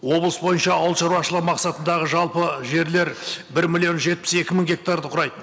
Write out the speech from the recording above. облыс бойынша ауылшаруашылығы мақсатындағы жалпы жерлер бір миллион жетпіс екі мың гектарды құрайды